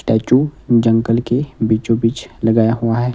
Statue जंगल के बीचों बीच लगाया हुआ है।